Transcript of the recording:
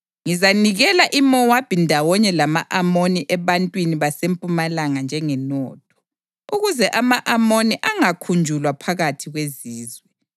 Ngizanikela iMowabi ndawonye lama-Amoni ebantwini baseMpumalanga njengenotho, ukuze ama-Amoni angakhunjulwa phakathi kwezizwe;